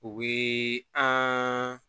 U bɛ an